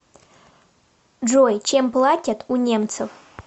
джой чем платят у немцев